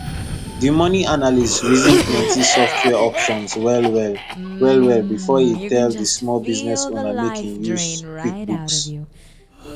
the money analyst reason plenty software options well well well well before e tell the small business owner make e use quickbooks